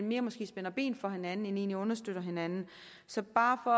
mere spænder ben for hinanden end egentlig understøtter hinanden så bare for